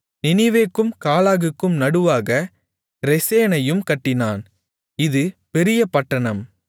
நினிவேக்கும் காலாகுக்கும் நடுவாக ரெசேனையும் கட்டினான் இது பெரிய பட்டணம்